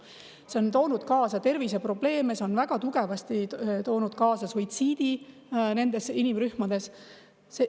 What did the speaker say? See on toonud kaasa terviseprobleeme, see on väga tugevasti toonud kaasa suitsiidi nendes inimrühmades.